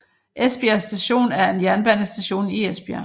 Esbjerg Station er en jernbanestation i Esbjerg